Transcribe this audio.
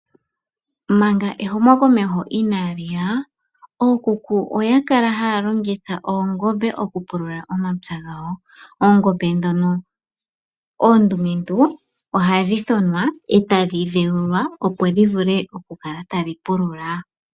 Manga ehumokomeho inaa li ya, ookuku oya kala haa longitha oongombe okupulula omapya gawo. Oongombe ndhono oondumentu ohadhi thonwa e tadhi dheulwa opo dhi vule oku kala tadhi pulula.